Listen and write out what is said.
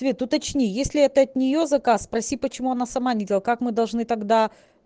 света уточни если это от нее заказ спроси почему она сама не делала как мы должны тогда